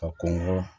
A kɔnɔgo